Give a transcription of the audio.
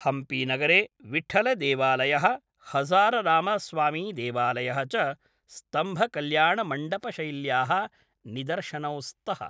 हम्पीनगरे विट्ठळदेवालयः, हज़ाररामस्वामिदेवालयः च स्तम्भकल्याणमण्डपशैल्याः निदर्शनौ स्तः।